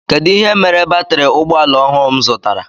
Kedụ ihe mere batiri ụgbọala ọhụụ m zụtara?